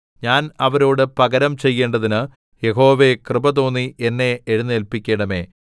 ഞാൻ അവരോട് പകരം ചെയ്യേണ്ടതിന് യഹോവേ കൃപ തോന്നി എന്നെ എഴുന്നേല്പിക്കണമേ